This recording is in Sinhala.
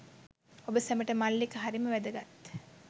ඔබ සැමට මල්ලික හරිම වැදගත්.